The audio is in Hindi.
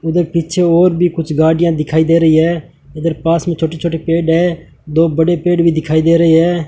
इधर पीछे और भी कुछ गाड़ियां दिखाई दे रही हैं इधर पास में छोटे छोटे पेड़ हैं दो बड़े पेड़ भी दिखाई दे रहे हैं।